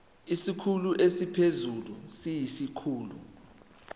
isikhulu esiphezulu siyisikhulu